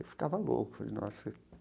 Eu ficava louco, falei nossa.